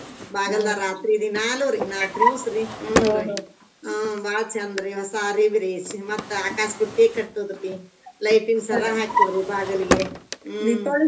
ಬಾಗಲ್ದಾಗ್ ರಾತ್ರಿ ದಿನಾಲೂರಿ ನಾಕ್ದಿವ್ಸ್ರಿ ಹ್ಮ್‌ ಹಾ ಬಾಳ್ ಚಂದ್ರಿ ಹೋಸ ಅರಿಬ್ರಿ ಆಕಾಶ್ ಬುಟ್ಟಿ ಕಟ್ಟೋದ್ರಿ light ನ್ ಸರ ಹಾಕೋದ್ರಿ ಬಾಗಿಲ್ಗೆ ಹ್ಮ್‌ .